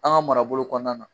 An ka marabolo kɔnɔna na